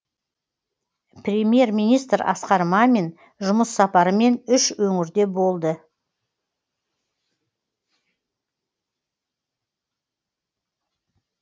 премьер министр асқар мамин жұмыс сапарымен үш өңірде болды